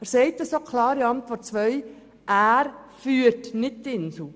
Er sagt auch klar in der Antwort zu Ziffer 2, er führe die Insel Gruppe AG nicht.